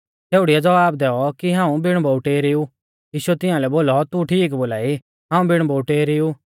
छ़ेउड़ीऐ ज़वाब दैऔ कि हाऊं बिण बोउटै री ऊ यीशुऐ तियांलै बोलौ तू ठीक बोलाई हाऊं बिण बोउटै री ऊ